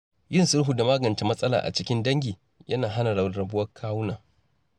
Yin sulhu da magance matsala a cikin dangi yana hana rarrabuwar kawuna.